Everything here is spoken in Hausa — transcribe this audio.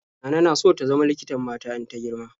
Nana na so ta zama likitan mata in ta girma.